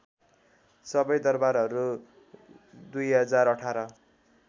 सबै दरबारहरू २०१८